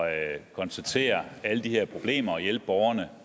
at konstatere alle de her problemer og hjælpe borgerne